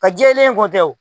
Ka jɛlen ko tɛ o.